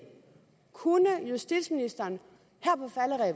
kunne justitsministeren